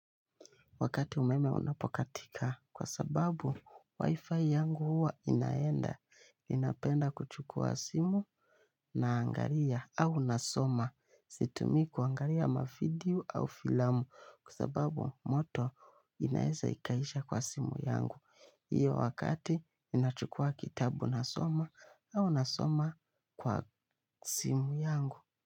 Wakati umeme unapokatika kwa sababu Wi-Fi yangu huwa inaenda. Ninapenda kuchukua simu na angalia au nasoma. Situmii kuangalia mavideo au filamu kwa sababu moto inaweza ikaisha kwa simu yangu. Hiyo wakati ninachukua kitabu nasoma au nasoma kwa simu yangu.